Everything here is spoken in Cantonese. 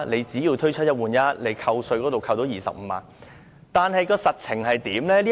雖說推出"一換一"，已經可以扣稅25萬元，但實情是怎樣的呢？